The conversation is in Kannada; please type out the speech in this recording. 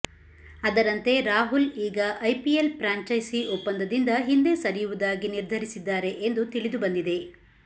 ಅದರಂತೆ ರಾಹುಲ್ ಈಗ ಐಪಿಎಲ್ ಪ್ರಾಂಚೈಸಿ ಒಪ್ಪಂದದಿಂದ ಹಿಂದೆ ಸರಿಯುವುದಾಗಿ ನಿರ್ಧರಿಸಿದ್ದಾರೆ ಎಂದು ತಿಳಿದು ಬಂದಿದೆ